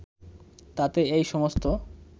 তাতে এই সমস্ত